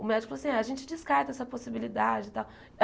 O médico falou assim, a gente descarta essa possibilidade e tal.